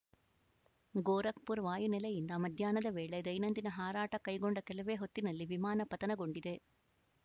ಗೋರಖ್‌ಪುರ್ ವಾಯು ನೆಲೆಯಿಂದ ಮಧ್ಯಾಹ್ನದ ವೇಳೆ ದೈನಂದಿನ ಹಾರಾಟ ಕೈಗೊಂಡ ಕೆಲವೇ ಹೊತ್ತಿನಲ್ಲೇ ವಿಮಾನ ಪತನಗೊಂಡಿದೆ